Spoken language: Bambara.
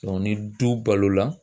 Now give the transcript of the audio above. ni du balo la